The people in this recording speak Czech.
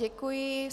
Děkuji.